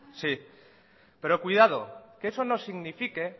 sí pero que eso no signifique